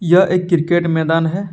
यह एक क्रिकेट मैदान है।